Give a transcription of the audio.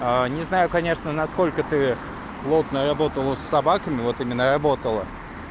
не знаю конечно насколько ты плотно работала собаками вот именно работала